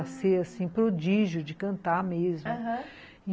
A ser, assim, prodígio de cantar mesmo, aham.